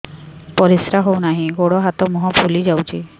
ପରିସ୍ରା ହଉ ନାହିଁ ଗୋଡ଼ ହାତ ମୁହଁ ଫୁଲି ଯାଉଛି